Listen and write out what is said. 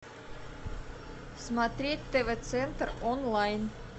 смотреть тв центр онлайн